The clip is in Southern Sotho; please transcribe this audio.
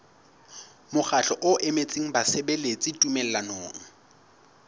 mokgatlo o emetseng basebeletsi tumellanong